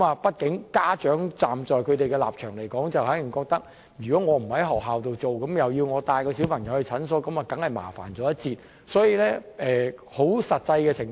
畢竟，在家長的立場來說，他們可能覺得如果不在學校接種，要自行帶小朋友到診所接種，會有些麻煩。